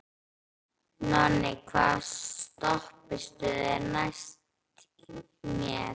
Nonni, hvaða stoppistöð er næst mér?